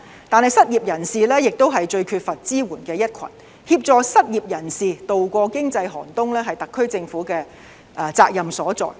但是，失業人士是最缺乏支援的一群，協助失業人士度過經濟寒冬，是特區政府的責任所在。